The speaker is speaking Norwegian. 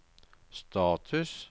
status